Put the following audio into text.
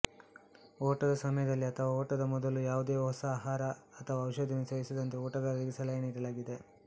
ಓಟದ ಸಮಯದಲ್ಲಿ ಅಥವಾ ಓಟದ ಮೊದಲು ಯಾವುದೇ ಹೊಸ ಆಹಾರ ಅಥವಾ ಔಷಧಿಯನ್ನು ಸೇವಿಸದಂತೆ ಓಟಗಾರರಿಗೆ ಸಲಹೆ ನೀಡಲಾಗಿದೆ